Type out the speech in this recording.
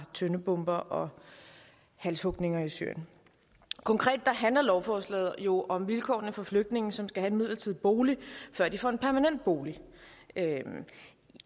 tøndebomber og halshugninger i syrien konkret handler lovforslaget jo om vilkårene for flygtninge som skal have en midlertidig bolig før de får en permanent bolig